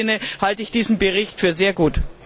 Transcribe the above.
In diesem Sinne halte ich diesen Bericht für sehr gut.